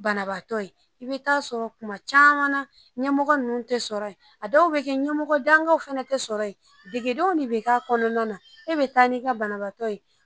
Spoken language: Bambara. Banabaatɔ in i be taa sɔrɔ kuma caman ɲɛmɔgɔ nunnu te sɔrɔ yen a dɔw be kɛ ɲɛmɔgɔ dangaw fɛnɛɛ te sɔrɔ yen degedenw ne be k'a kɔnɔna na e be n'i ka banabaatɔ ye